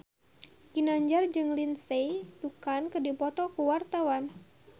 Ginanjar jeung Lindsay Ducan keur dipoto ku wartawan